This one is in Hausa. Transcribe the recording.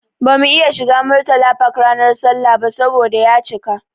Bamu iya shiga Murtala Park ranar sallah ba saboda ya cika.